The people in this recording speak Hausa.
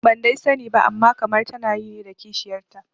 Ban dai sani ba amma kamar tana yi ne da kishiyarta